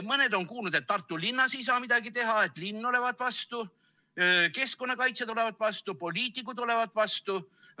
Mõned on kuulnud, et Tartu linnas ei saa midagi teha, et linn olevat vastu, keskkonnakaitsjad olevat vastu, poliitikud olevat vastu.